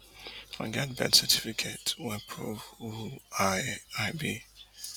i get birth certificate wey i prove who i i be